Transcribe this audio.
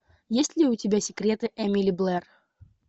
есть ли у тебя секреты эмили блэр